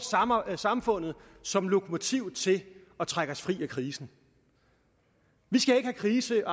samfundet som lokomotiv til at trække os fri af krisen krisen